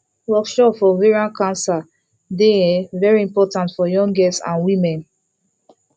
workshop for ovarian cancer dey um very important for young girls and women